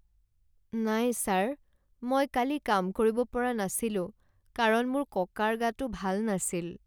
নাই ছাৰ, মই কালি কাম কৰিব পৰা নাছিলো কাৰণ মোৰ ককাৰ গাটো ভাল নাছিল